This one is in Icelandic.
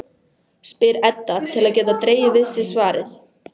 spyr Edda til að geta dregið við sig svarið.